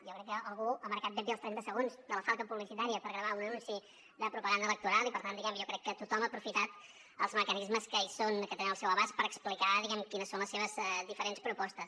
jo crec que algú ha marcat ben bé els trenta segons de la falca publicitària per gravar un anunci de propaganda electoral i per tant diguem ne jo crec que tothom ha aprofitat els mecanismes que hi són que tenen al seu abast per explicar quines són les seves diferents propostes